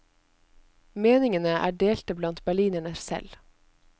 Meningene er delte blant berlinerne selv.